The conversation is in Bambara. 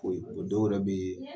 Kori o dɔw yɛrɛ bɛ yen